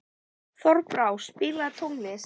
Þorbrá, spilaðu tónlist.